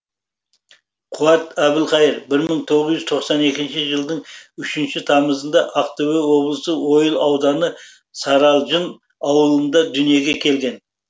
қуат әбілқайыр бір мың тоғыз жүз тоқсан екінші жылдың үшінші тамызында ақтөбе облысы ойыл ауданы саралжын ауылында дүниеге келген